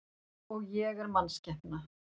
Og ég er mannskepna.